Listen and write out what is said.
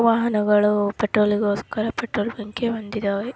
ವಾಹನಗಳು ಪೆಟ್ರೋಲ್ ಗೋಸ್ಕರ ಪೆಟ್ರೋಲ್ ಬಂಕಿಗೇ ಹೋಗಿವೆ.